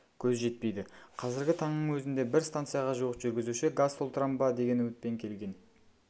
көз жетпейді қазіргі таңның өзінде бір станцияға жуық жүргізуші газ толтырам ба деген үмітпен келген